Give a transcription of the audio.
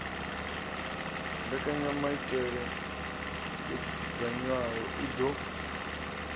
mbekanyamaitele yo dzudzanywaho i ḓo